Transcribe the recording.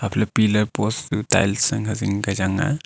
piller post chu tiles ankhe zing kya chang aa.